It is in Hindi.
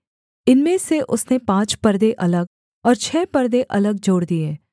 इनमें से उसने पाँच परदे अलग और छः परदे अलग जोड़ दिए